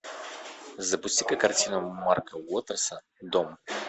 запусти ка картину марка уотерса дом